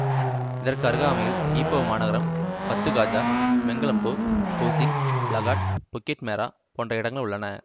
இதற்கு அருகாமையில் ஈப்போ மாநகரம் Batu Gajah Menglembu Pusing Lahat Bukit Merah போன்ற இடங்கள் உள்ளன